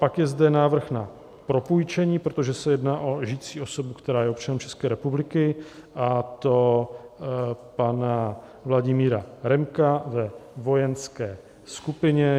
Pak je zde návrh na propůjčení, protože se jedná o žijící osobu, která je občanem České republiky, a to pana Vladimíra Remka, ve vojenské skupině.